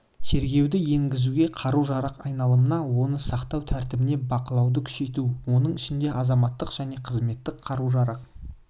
тергеуді енгізуге қару-жарақ айналымына оны сақтау тәртібіне бақылауды күшейту оның ішінде азаматтық және қызметтік қару-жарақ